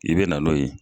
I bɛ na n'o ye